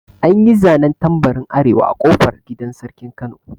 An yi zanen tambarin arewa a ƙofar gidan sarkin kano